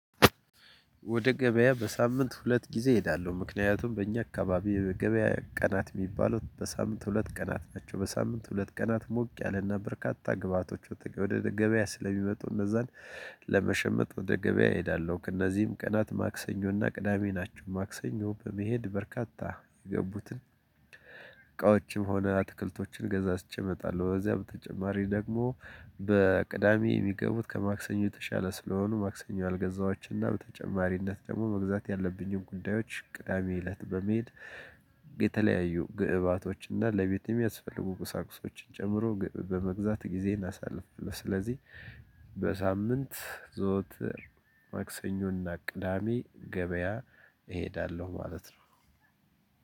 ወደ ገበያ በሳምንት ሁለት ጊዜ እሄዳለው ምክንያቱም በእኛ አካባቢ የገበያ ቀናት ሚባሉት በሳምንት ሁለት ቀናት ናቸው። በሳምንት ሁለት ቀናት ሞቅ ያለና በርካታ ግብአቶችን ወደ ገበያ ስለሚመጡ እነዛን ለመሸመት ወደ ገበያ እሄዳለሁ። ከነዚህም ቀናት ማክሰኞና ቅዳሜ ናቸው። ማክሰኞ በመሄድ በርካታ የገቡትን እቃዎችም ሆነ አትክልቶችን ገዛዝቼ እመጣለው። በዚያ በተጨማሪ ደግሞ በቅዳሜ የሚገቡት ከማክሰኞ የተሻለ ስለሆኑ ማክሰኞ ያልገዛህዋቸው እና በተጨማሪነት ደግሞ መግዛት ያለብኝን ጉዳዮች ቅዳሜ እለት በመሄድ የተለያዩ ግብአቶች እና ለቤቴ የሚያስፈልጉ ቁሳቁሶችን ጨምሮ በመግዛት ጊዜ እናሳልፋለን። ስለዚህ በሳምንት ዘወትር ማክሰኞና ቅዳሜ ገበያ እሄዳለሁ። ማለት ነው።